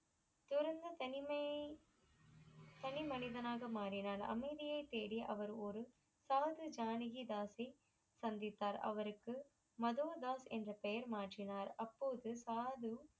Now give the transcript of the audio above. திறந்த தனிமையை தனி மனிதனாக மாறினார் அமைதியை தேடி அவர் ஒரு சாரசு ஜானகி தாசி சந்தித்தார் அவருக்கு மதுவதாஸ் என்று பெயர் மாற்றினார் அப்போது பாது